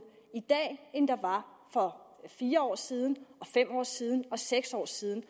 i dag end der var for fire år siden og fem år siden og seks år siden